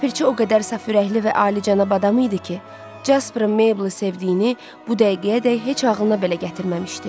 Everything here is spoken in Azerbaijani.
Ləpirçi o qədər saf ürəkli və alicənab adam idi ki, Jasperin Meyblı sevdiyini bu dəqiqəyədək heç ağılına belə gətirməmişdi.